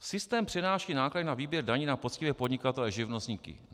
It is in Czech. Systém přenáší náklady na výběr daní na poctivé podnikatele živnostníky.